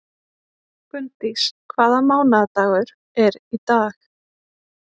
Gunndís, hvaða mánaðardagur er í dag?